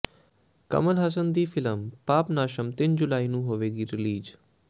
ਕਮਲ ਹਾਸਨ ਦੀ ਫਿ਼ਲਮ ਪਾਪਨਾਸਮ ਤਿੰਨ ਜੁਲਾਈ ਨੂੰ ਹੋਵੇਗੀ ਰਿਲੀਜ਼